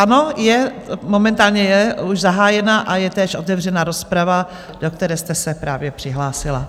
Ano, momentálně je už zahájena a je též otevřena rozprava, do které jste se právě přihlásila.